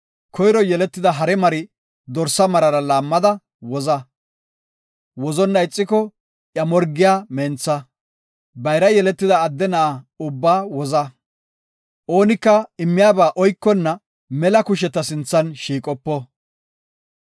Koyro yeletida hare mari dorsa marara laammada woza. Wozonna ixiko, iya morgiya mentha. Bayra yeletida adde na7a ubbaa woza. “Oonika immiyaba oykonna mela kushe ta sinthan shiiqopo.